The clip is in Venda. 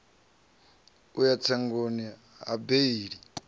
u ya tsengoni ya beili